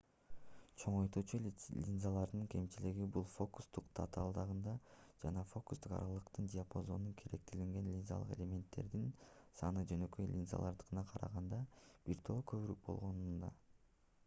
чоңойтуучу линзалардын кемчилиги бул фокустук татаалдыгында жана фокустук аралыктык диапазонуна керектелген линзалык элементтердин саны жөнөкөй линзалардыкына караганда бир топ көбүрөөк болгонунда